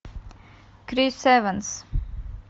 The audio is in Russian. крис эванс